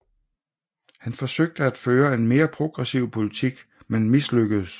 Han forsøgte at føre en mere progressiv politik men mislykkedes